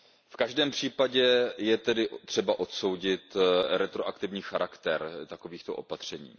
V každém případě je třeba odsoudit retroaktivní charakter takovýchto opatření.